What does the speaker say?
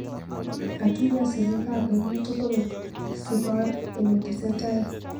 Katuyo sirik ab emet tugul sibor ki netesetai.